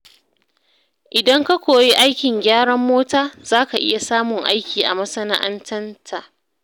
Idan ka koyi aikin gyaran mota, za ka iya samun aiki a masana’anta.